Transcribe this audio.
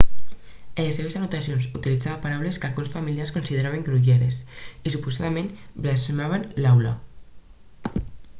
en les seves anotacions utilitzava paraules que alguns familiars consideraven grolleres i suposadament blasfemava a l'aula